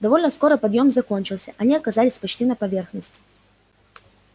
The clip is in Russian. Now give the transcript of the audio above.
довольно скоро подъём закончился они оказались почти на поверхности